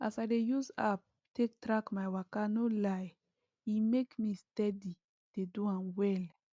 as i dey use app take track my waka no lie e make me steady dey do am well